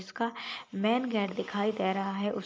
जिसका main gate दिखाई दे रहा है उस --